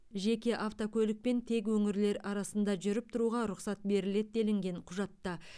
жеке автокөлікпен тек өңірлер арасында жүріп тұруға рұқсат беріледі делінген құжатта